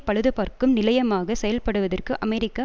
பழுதுபார்க்கும் நிலையமாக செயல் படுவதற்கு அமெரிக்கா